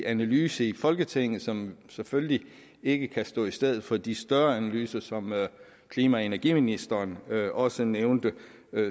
analyse i folketinget som selvfølgelig ikke kan stå i stedet for de større analyser som klima og energiministeren også nævnte